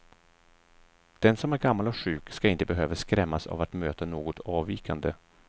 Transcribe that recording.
Den som är gammal och sjuk ska inte behöva skrämmas av att möta något avvikande.